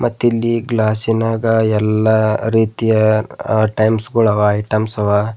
ಮತ್ತಿಲ್ಲಿ ಗ್ಲಾಸಿ ನ್ಯಾಗ ಎಲ್ಲಾ ರೀತಿಯ ಟೈಮ್ಸ್ ಗೋಳವ ಐಟಮ್ಸ್ ಅವ.